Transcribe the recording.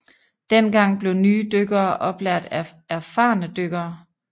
Dengang blev nye dykkere oplært af erfarne dykkere